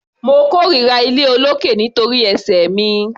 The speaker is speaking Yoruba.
Mo kórira iléolókè nítorí ẹsẹ̀ mi.